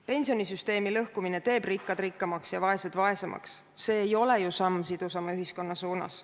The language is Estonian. Pensionisüsteemi lõhkumine teeb rikkad rikkamaks ja vaesed vaesemaks, see ei ole ju samm sidusama ühiskonna suunas.